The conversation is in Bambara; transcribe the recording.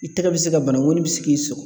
I tɛgɛ bɛ se ka bana ŋɔni bi se k'i sɔgɔ